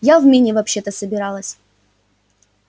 я в мини вообще-то собиралась